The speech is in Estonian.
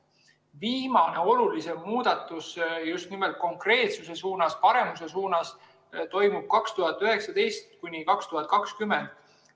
Viimane olulisem muudatus just nimelt konkreetsuse suunas, paremuse suunas toimus 2019–2020.